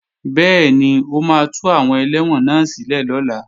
Bẹ́ẹ̀ni, o máa tú àwọn ẹlẹ́wọ̀n náà sílẹ̀ lọ́la